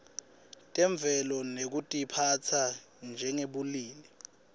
temvelo nekutiphatsa njengebulili